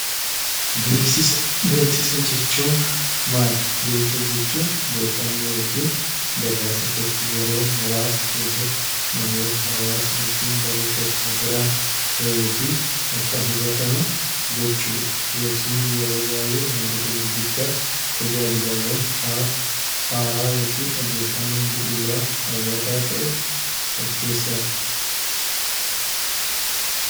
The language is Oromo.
Beeksisa jechuun maali? Beeksisa jechuun odeeffannoo yookiin gabaasa tokko yeroo muraasa keessatta namoota, hawaasa yookiin garee tokko biraan gahuu fi akka hubatamu gochuudha. Beeksisni yeroo baay'ee wantoota gurguddaa yookiin tajaajilawwan haala haaraa yookiin odeeffannoo bu'uuraa hawwataa ta'e of keessaa qaba.